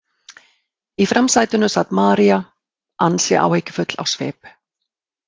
Í framsætinu sat María, ansi áhyggjufull á svip.